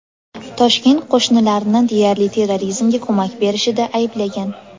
Toshkent qo‘shnilarni deyarli terrorizmga ko‘mak berishida ayblagan.